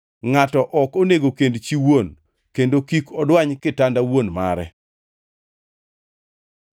Ngʼato ok onego kend chi wuon, kendo kik odwany kitanda wuon mare.